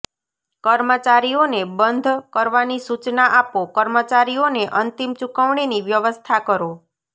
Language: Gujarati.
કર્મચારીઓને બંધ કરવાની સૂચના આપો કર્મચારીઓને અંતિમ ચૂકવણીની વ્યવસ્થા કરો